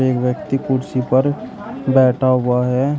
एक व्यक्ति कुर्सी पर बैठा हुआ है।